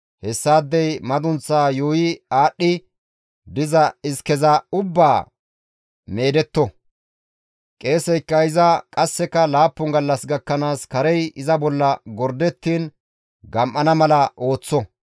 Hessaadey madunththaa yuuyi aadhdhi diza iskeza ubbaa meedetto; qeeseykka iza qasseka laappun gallas gakkanaas karey iza bolla gordettiin gam7ana mala ooththo.